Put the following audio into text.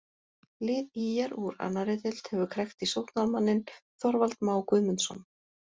Lið ÍR úr annarri deild hefur krækt í sóknarmanninn Þorvald Má Guðmundsson.